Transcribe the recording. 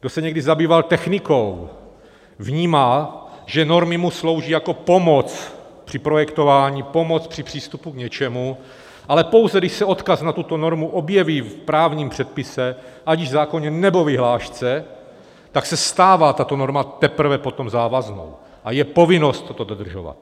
Kdo se někdy zabýval technikou, vnímá, že normy mu slouží jako pomoc pro projektování, pomoc při přístupu k něčemu, ale pouze když se odkaz na tuto normu objeví v právním předpise, ať již zákoně, nebo vyhlášce, tak se stává tato norma teprve potom závaznou a je povinnost toto dodržovat.